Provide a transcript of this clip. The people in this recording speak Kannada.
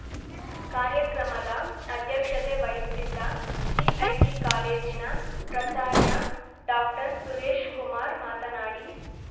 ಕಾರ್ಯಕ್ರಮದ ಅಧ್ಯಕ್ಷತೆ ವಹಿಸಿದ್ದ ಸಿಐಟಿ ಕಾಲೇಜಿನ ಪ್ರಚಾರ್ಯ ಡಾಕ್ಟರ್ ಸುರೇಶ್‌ಕುಮಾರ್ ಮಾತನಾಡಿ